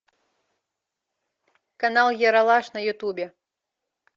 канал ералаш на ютубе